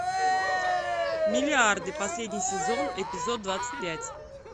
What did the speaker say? миллиарды последний сезон эпизод двадцать пять